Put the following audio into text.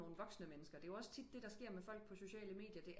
Voksne mennesker det er jo også tit det der sker med folk på sociale medier